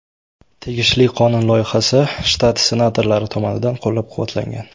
Tegishli qonun loyihasi shtat senatorlari tomonidan qo‘llab-quvvatlangan.